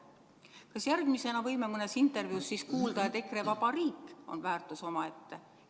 Kas järgmisena võime mõnes intervjuus kuulda, et EKRE-vaba riik on väärtus omaette?